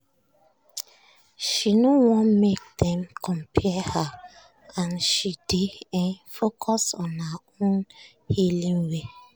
"she no wan make dem compare her and she dey um focus on her own healing way."